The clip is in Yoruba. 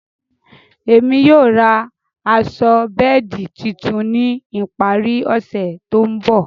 Émi yóò rá aṣọ bẹẹdi títún ni ìparí ọsẹ tó nbọ̀.